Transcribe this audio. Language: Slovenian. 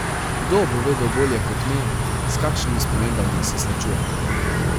Kdo bo vedel bolje kot me, s kakšnimi spremembami se srečujemo?